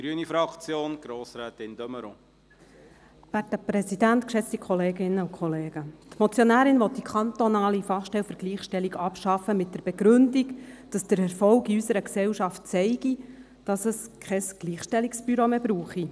Die Motionärin will die kantonale Fachstelle für Gleichstellung mit der Begründung abschaffen, dass der Erfolg in unserer Gesellschaft zeige, dass es kein Gleichstellungsbüro mehr brauche.